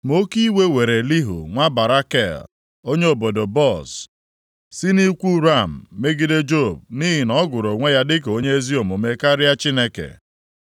Ma oke iwe were Elihu nwa Barakel onye obodo Buz, si nʼikwu Ram megide Job nʼihi na ọ gụrụ onwe ya dịka onye ezi omume karịa Chineke.